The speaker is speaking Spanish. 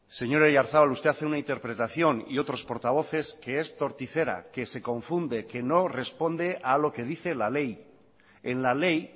señor oyarzabal usted hace una interpretación y otros portavoces que es torticera que se confunde que no responde a lo que dice la ley en la ley